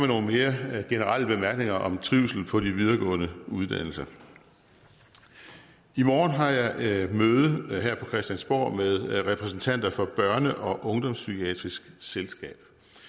nogle mere generelle bemærkninger om trivsel på de videregående uddannelser i morgen har jeg møde her på christiansborg med repræsentanter for børne og ungdomspsykiatrisk selskab